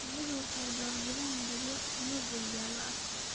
Shinnidu waxay door bidaan midabyo buluug iyo jaalle ah.